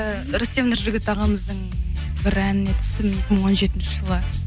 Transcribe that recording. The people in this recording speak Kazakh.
ііі рүстем нұржігіт ағамыздың бір әніне түстім екі мың он жетінші жылы